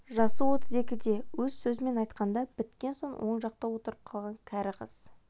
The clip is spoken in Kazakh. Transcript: жасы отыз екіде өз сөзімен айтқанда біткен оң жақта отырып қалған кәрі қыз